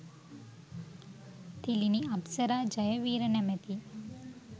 තිළිණි අප්සරා ජයවීර නමැති